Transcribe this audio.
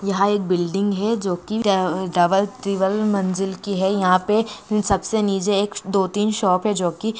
यहाँ एक बिल्डिंग है जो की ट अह डबल ट्रिपल मंजिल की है यहाँ पे सबसे नीचे दो तीन शॉप है जो की--